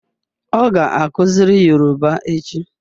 Ọ ga-akuziri Yoruba echi